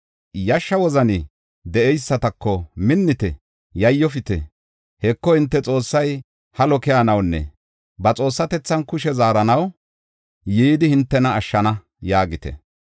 Yashsha wozani de7eysatako, “Minnite! Yayyofite! Heko, hinte Xoossay halo keyanawunne ba xoossatethan kushe zaaranaw yidi hintena ashshana” yaagite.